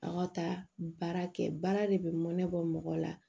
Aw ka taa baara kɛ baara de bɛ mɔ ne bɔ mɔgɔ la